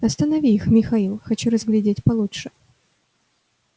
останови их михаил хочу разглядеть получше